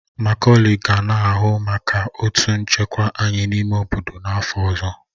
Maculey ga na-ahụ maka otu nchekwa anyị n'ime obodo n'afọ ọzọ